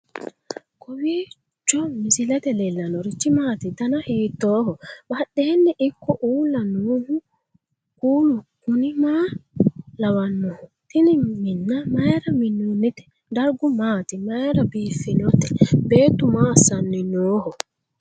kowiicho misilete leellanorichi maati ? dana hiittooho ?badhhenni ikko uulla noohu kuulu kuni maa lawannoho? tini minna mayra minnoonnite dargu maati mayra biffinote beettu maa assanni nooho